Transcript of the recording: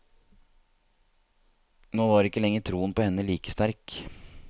Nå var ikke lenger troen på henne like sterk.